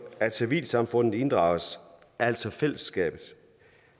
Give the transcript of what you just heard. at civilsamfundet inddrages altså fællesskabet